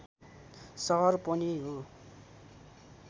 सहर पनि हो